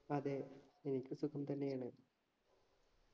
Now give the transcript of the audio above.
അതെ എനിക്ക് സുഖം തന്നെയാണ്